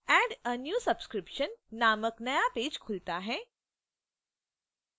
add a new subscription 2/2 नामक नया page खुलता है